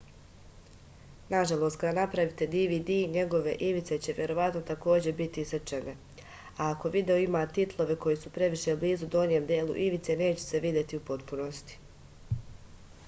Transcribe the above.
nažalost kada pravite dvd njegove ivice će verovatno takođe biti isečene a ako video ima titlove koji su previše blizu donjem delu ivice neće se videti u potpunosti